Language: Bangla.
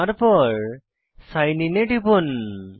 তারপর সাইন আইএন এ টিপুন